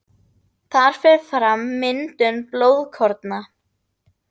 Þar fer fram myndun blóðkorna.